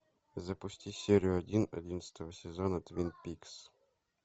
запусти серию один одиннадцатого сезона твин пикс